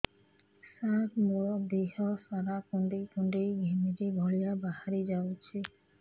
ସାର ମୋର ଦିହ ସାରା କୁଣ୍ଡେଇ କୁଣ୍ଡେଇ ଘିମିରି ଭଳିଆ ବାହାରି ଯାଉଛି